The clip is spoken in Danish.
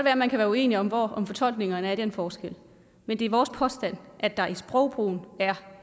at man kan være uenige om om fortolkningerne er i den forskel men det er vores påstand at der i sprogbrugen er